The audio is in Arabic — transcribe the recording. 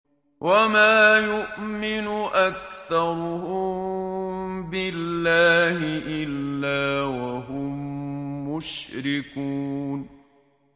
وَمَا يُؤْمِنُ أَكْثَرُهُم بِاللَّهِ إِلَّا وَهُم مُّشْرِكُونَ